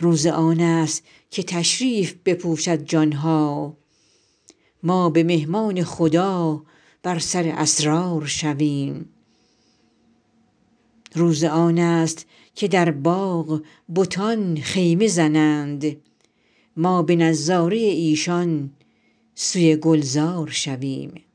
روز آن است که تشریف بپوشد جان ها ما به مهمان خدا بر سر اسرار شویم روز آن است که در باغ بتان خیمه زنند ما به نظاره ایشان سوی گلزار شویم